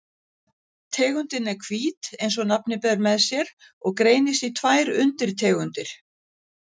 Tegundin er hvít eins og nafnið ber með sér og greinist í tvær undirtegundir.